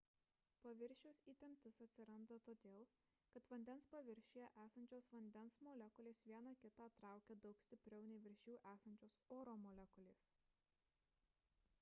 paviršiaus įtemptis atsiranda todėl kad vandens paviršiuje esančios vandens molekulės viena kitą traukia daug stipriau nei virš jų esančios oro molekulės